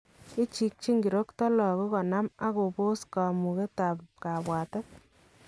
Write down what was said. Ichikyin kirokto lakook konaam ak kopoos kamugetab kabwatet